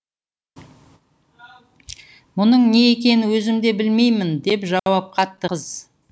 мұның не екенін өзім де білмеймін деп жауап қатты қыз